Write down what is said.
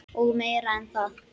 Og meira en það.